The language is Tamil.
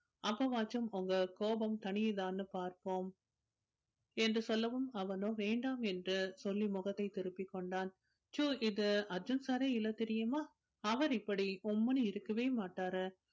அப்பவாச்சும் உங்க கோபம் தனியுதான்னு பார்ப்போம் என்று சொல்லவும் அவனோ வேண்டாம் என்று சொல்லி முகத்தை திருப்பிக் கொண்டான் so இது அர்ஜுன் sir ஏ இல்லை தெரியுமா அவர் இப்படி உம்முன்னு இருக்கவே மாட்டாரு